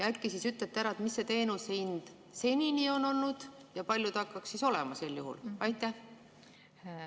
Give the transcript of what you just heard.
Äkki ütlete ära, mis see teenuse hind senini on olnud ja kui palju ta hakkaks sel juhul olema?